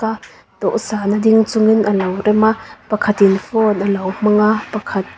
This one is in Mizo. dawhsan a ding chungin a lo rem a pakhatin phone a lo hmang a pakhat--